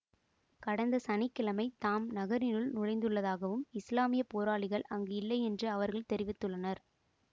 கடந்த சனி கிழமை தாம் நகரினுள் நுழைந்துள்ளதாகவும் இசுலாமிய போராளிகள் அங்கு இல்லை என்றும் அவர்கள் தெரிவித்துள்ளனர்